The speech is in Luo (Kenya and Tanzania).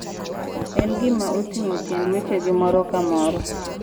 En gima oting'o tiend wechegi moro ka moro.